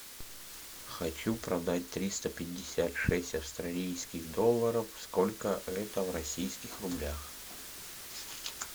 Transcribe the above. хочу продать триста пятьдесят шесть австралийских долларов сколько это в российских рублях